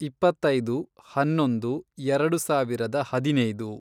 ಇಪ್ಪತ್ತೈದು, ಹನ್ನೊಂದು, ಎರೆಡು ಸಾವಿರದ ಹದಿನೈದು